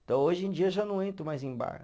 Então, hoje em dia, eu já não entro mais em bar.